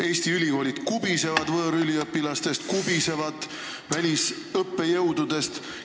Eesti ülikoolid kubisevad võõrüliõpilastest ja välisõppejõududest.